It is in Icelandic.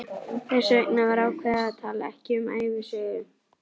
Þess vegna var ákveðið að tala ekki um ævisögu